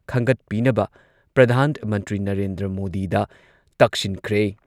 ꯈꯟꯒꯠꯄꯤꯅꯕ ꯄ꯭ꯔꯙꯥꯟ ꯃꯟꯇ꯭ꯔꯤ ꯅꯔꯦꯟꯗ꯭ꯔ ꯃꯣꯗꯤꯗ ꯇꯛꯁꯤꯟꯈ꯭ꯔꯦ ꯫